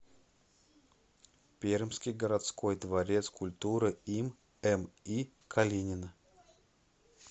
пермский городской дворец культуры им ми калинина